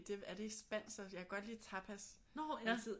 Det er det ikke spansk også jeg kan godt lide tapas jeg har altid